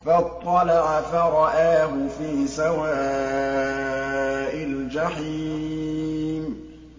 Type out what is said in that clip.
فَاطَّلَعَ فَرَآهُ فِي سَوَاءِ الْجَحِيمِ